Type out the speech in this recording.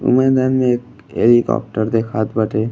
मैदान में एक हेलीकॉप्टर देखात बाटे।